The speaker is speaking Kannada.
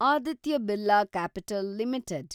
Aditya Birla capital limited